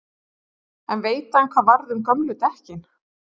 En veit hann hvað varð um gömlu dekkin?